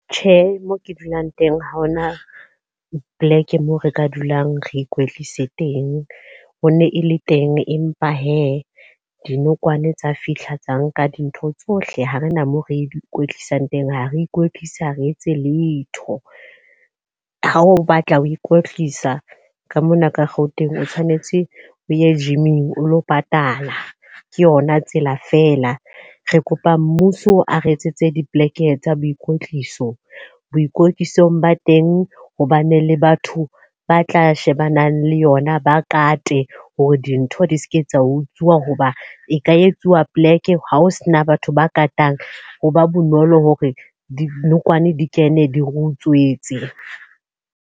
Tjhe, moo ke dulang teng ha hona poleke moo re ka dulang re ikwetlise teng. Ho ne e le teng empa he, dinokwane tsa fihla tsa nka dintho tsohle, ha re na mo re ikwetlisang teng ha re ikwetlisi ha re etse letho. Ha o batla ho ikwetlisa ka mona ka Gauteng o tshwanetse o ye gym-ing o lo patala. Ke yona tsela fela. Re kopa mmuso a re etsetse dipoleke tsa boikotliso. Boikotlisong ba teng hobane le batho ba tla shebanang le yona ba kate hore dintho di se ke tsa utsuwa. Hoba e ka etsuwa poleke ha ho sena batho ba katang ho ba bonolo hore dinokwane di kene, di re utswetse.